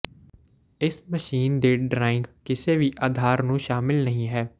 ਇਸ ਮਸ਼ੀਨ ਦੇ ਡਰਾਇੰਗ ਕਿਸੇ ਵੀ ਅਧਾਰ ਨੂੰ ਸ਼ਾਮਲ ਨਹੀ ਹੈ